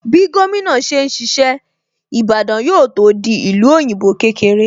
Bí gómìnà ṣe ń ṣiṣẹ́, Ìbàdàn yóò tó di ìlú òyìnbó kékeré